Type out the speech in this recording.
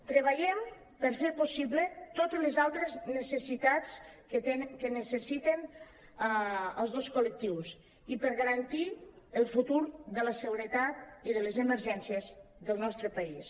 treballem per fer possible to·tes les altres necessitats que necessiten els dos col·lectius i per garantir el futur de la seguretat i de les emergències del nostre país